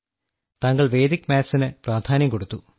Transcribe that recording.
താങ്കൾ വേദ്ക് മാത്സിന് പ്രാധാന്യം കൊടുത്തു